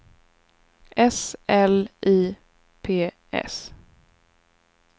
S L I P S